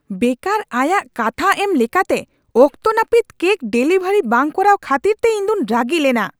ᱵᱮᱠᱟᱨ ᱟᱭᱟᱜ ᱠᱟᱛᱷᱟ ᱮᱢ ᱞᱮᱠᱟᱛᱮ ᱚᱠᱛᱚ ᱱᱟᱹᱯᱤᱛ ᱠᱮᱠ ᱰᱮᱞᱤᱵᱷᱟᱨᱤ ᱵᱟᱝ ᱠᱚᱨᱟᱣ ᱠᱷᱟᱹᱛᱤᱨᱛᱮ ᱤᱧᱫᱩᱧ ᱨᱟᱹᱜᱤ ᱞᱮᱱᱟ ᱾